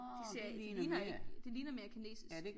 De ser ikke de ligner ikke det ligner mere kinesisk